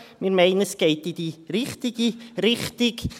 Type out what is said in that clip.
Wir meinen, es gehe in die richtige Richtung.